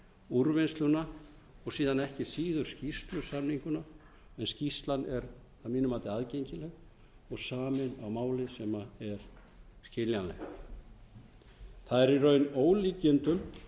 úrvinnsluna og síðan ekki síður skýrslusamninguna en skýrslan er að mínu mati aðgengileg og samin á máli sem er skiljanleg það er í raun með ólíkindum